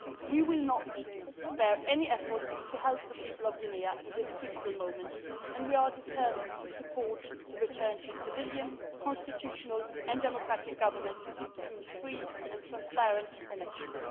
We will spare no efforts to help the people of Guinea in this critical moment and we are determined to support a return to civilian, constitutional and democratic government through free and transparent elections.